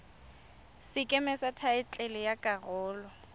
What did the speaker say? sekeme sa thaetlele ya karolo